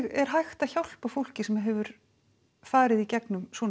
er hægt að hjálpa fólki sem hefur farið í gegnum svona